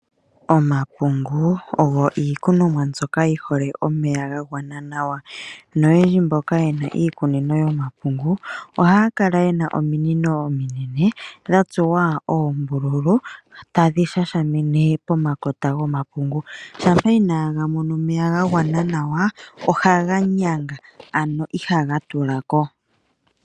Omapungu oyo iikunomwa mbyoka yihole omeya ga gwana nawa noyendji mboka yena iikunino yomapungu ohaakala yena ominino ominene dhatsuwa oombululu tadhi shasha mine pomakota gomapungu, shampa inaga mona omeya gagwana nawa ohaga nyanga ano ihaga tula ko.